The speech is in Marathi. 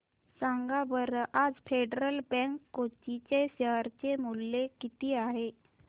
सांगा बरं आज फेडरल बँक कोची चे शेअर चे मूल्य किती आहे